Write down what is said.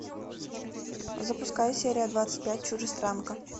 запускай серия двадцать пять чужестранка